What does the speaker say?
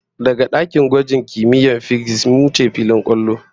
Daga dakin gwaji na kimiyyar fisiks, mun wuce filin kwallo